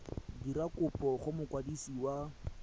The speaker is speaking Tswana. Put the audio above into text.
dira kopo go mokwadisi wa